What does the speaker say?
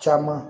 Caman